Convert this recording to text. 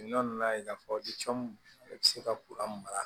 n'a ye k'a fɔ e bɛ se ka mara